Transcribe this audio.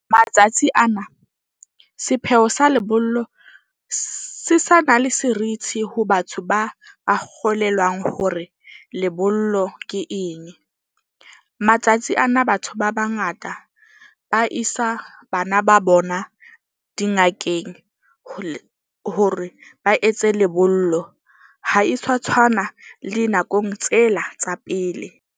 Matsatsi ana sepheo sa lebollo se sa na le serithi ho batho ba a kgolelwang hore lebollo ke eng. Matsatsi ana, batho ba bangata ba isa bana ba bona dingakeng hore ba etse lebollo. Ha e sa tshwana le nakong tsela tsa pele.